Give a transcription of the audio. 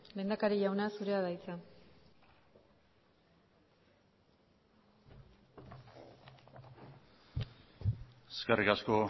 lehendakari jauna zurea da hitza eskerrik asko